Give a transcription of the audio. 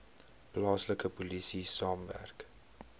plaaslike polisie saamwerk